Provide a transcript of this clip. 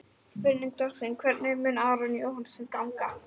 Spurning dagsins er: Hvernig mun Aroni Jóhannssyni ganga?